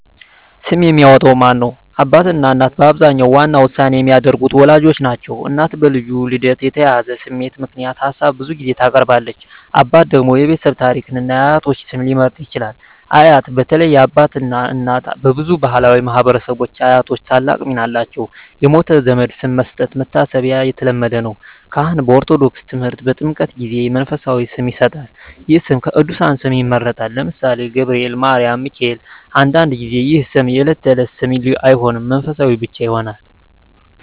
ስም የሚያወጣው ማን ነው? አባትና እናት በአብዛኛው ዋና ውሳኔ የሚያደርጉት ወላጆች ናቸው። እናት በልጁ ልደት የተያያዘ ስሜት ምክንያት ሀሳብ ብዙ ጊዜ ታቀርባለች። አባት ደግሞ የቤተሰብ ታሪክን እና የአያቶች ስም ሊመርጥ ይችላል። አያት (በተለይ የአባት አባት/እናት) በብዙ ባሕላዊ ማኅበረሰቦች አያቶች ታላቅ ሚና አላቸው። የሞተ ዘመድ ስም መስጠት (መታሰቢያ) የተለመደ ነው። ካህን (በኦርቶዶክስ ተምህርት) በጥምቀት ጊዜ መንፈሳዊ ስም ይሰጣል። ይህ ስም ከቅዱሳን ስም ይመረጣል (ለምሳሌ፦ ገብርኤል፣ ማርያም፣ ሚካኤል)። አንዳንድ ጊዜ ይህ ስም የዕለት ተዕለት ስም አይሆንም፣ መንፈሳዊ ብቻ ይሆናል።